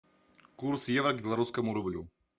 курс евро к белорусскому рублю